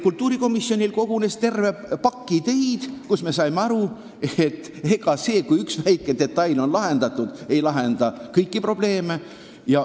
Kultuurikomisjonil kogunes terve pakk ideid, mille põhjal me saime aru, et ega see, kui üks väike detail on korras, ei lahenda kõiki probleeme.